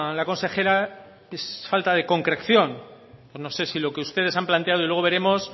la consejera es falta de concreción no sé si lo que ustedes han planteado y luego veremos